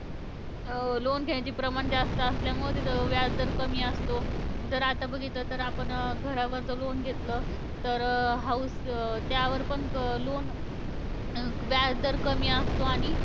Loan घेण्याचं प्रमाण जास्त असल्यामुळं तिथं व्याजदर कमी असतो. जर आता बघितलं तर आपण अं घरावर जर loan घेतलं तर house त्यावर पण क loan व्याजदर कमी असतो. आणि